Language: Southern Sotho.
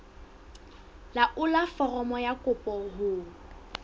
laolla foromo ya kopo ho